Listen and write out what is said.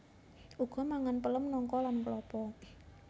Uga mangan pelem nangka lan klapa